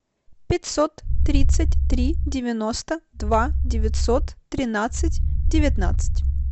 пятьсот тридцать три девяносто два девятьсот тринадцать девятнадцать